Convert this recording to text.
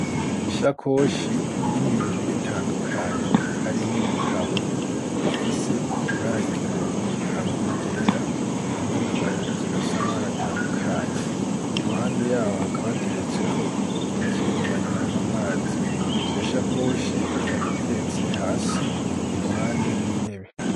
Ishakoshi irimwo ibintu bitandukanye harimwo ibitabo bifise ibara ry'ubururu hamwe n'igera hamwe n'agahuzu gafise amabare atandukanye i ruhande yaho hakabateretseho ikintu banyuramwo amazi yoshakoshi kabiteretse hasi i ruhandeo yintebe.